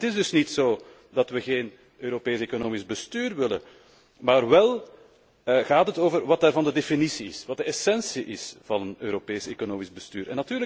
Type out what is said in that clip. Het is dus niet zo dat we geen Europees economisch bestuur willen, maar wel gaat het over wat daarvan de definitie is, wat de essentie is van een Europees economisch bestuur.